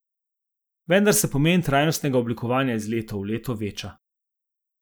Vendar se pomen trajnostnega oblikovanja iz leta v leto veča.